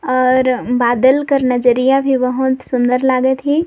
और बादल कर नजरिया भी बहुत सुंदर लागत हे।